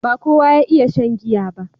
ba kowa ya iya shan giya ba